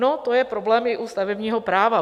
No, to je problém i u stavebního práva.